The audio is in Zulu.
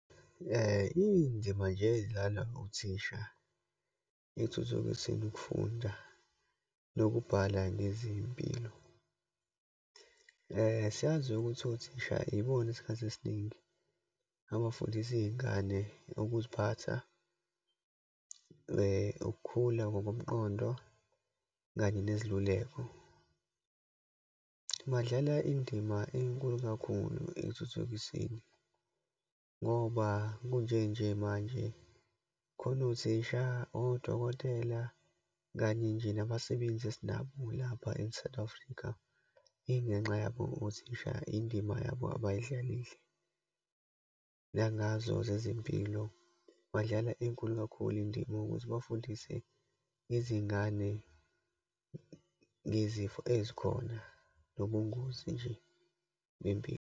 Iyinzima nje ezadlalwa othisha ekuthuthukiseni ukufunda, nokubhala, nezempilo. Siyazi ukuthi othisha ibona isikhathi esiningi, abafundisa iyingane ukuziphatha, ukukhula ngokomqondo, kanye neziluleko. Badlala indima enkulu kakhulu ekuthuthukiseni, ngoba kunje nje manje khona othisha, odokotela, kanye nje nabasebenzi esinabo lapha e-South Afrika, ingenxa yabo othisha, indima yabo abayidlalile. Nangazo zezempilo, badlala enkulu kakhulu indima ukuze bafundise izingane ngezifo ezikhona, nobungozi nje bempilo.